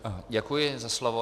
Děkuji za slovo.